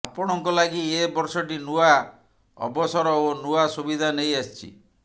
ଆପଣଙ୍କ ଲାଗି ଏ ବର୍ଷଟି ନୂଆ ଅବସର ଓ ନୂଆ ସୁବିଧା ନେଇ ଆସିଛି